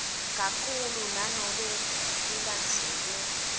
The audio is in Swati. kakhulu nanobe kulandzelwe